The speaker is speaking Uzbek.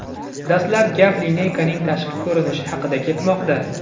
Dastlab gap lineykaning tashqi ko‘rinishi haqida ketmoqda.